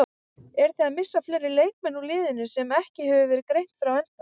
Eruð þið að missa fleiri leikmenn úr liðinu sem ekki hefur verið greint frá ennþá?